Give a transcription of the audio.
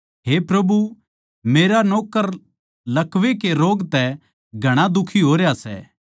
हे प्रभु मेरा नौक्कर लकवै के रोग तै घणा दुखी होरया सै